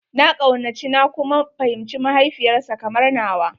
Na kaunaci na kuma fahimci mahaifiyar sa kamar nawa.